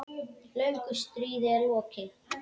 Löngu stríði er lokið.